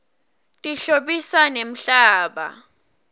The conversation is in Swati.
tihlobisa nemhlaba